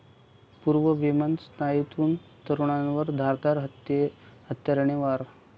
पूर्ववैमनस्यातून तरूणावर धारदार हत्याराने वार